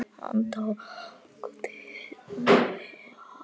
Hann tók til dæmis saman